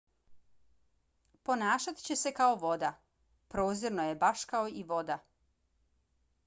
ponašat će se kao voda. prozirno je baš kao i voda.